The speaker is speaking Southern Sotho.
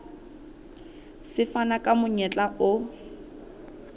se fana ka monyetla o